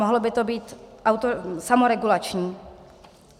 Mohlo by to být samoregulační.